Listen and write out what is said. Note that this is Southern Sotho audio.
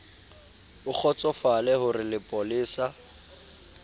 o kgotsofale ho re lepolesa